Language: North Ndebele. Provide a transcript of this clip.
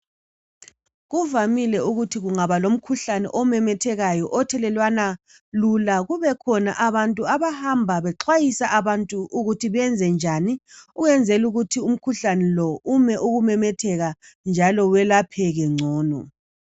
Kuvamile ukuthi kungaba lomkhuhlane othelelwana kalula kubekhona abantu abahamba bexwayisa abantu ukuthi benze njani ukwenzela ukuthi umkhuhlane lo ume ukumemetheka njalo welapheke ngcono.